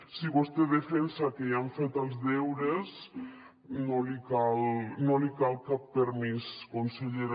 si vostè defensa que ja han fet els deures no li cal cap permís consellera